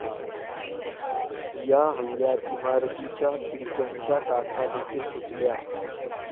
या हल्ल्यात इमारतीच्या खिडक्यांच्या काचा देखील फुटल्या.